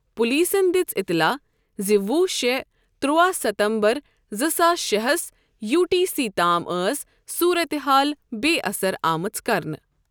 پولیسَن دِژ اطلاع زِ وُہ شےٚ، ترٚوا ستمبر زٕ ساس شےٚہس یوٗ ٹی سی تام ٲس صورتحال بے اثر آمٕژ کرنہٕ